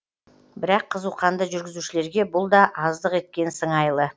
бірақ қызуқанды жүргізушілерге бұл да аздық еткен сыңайлы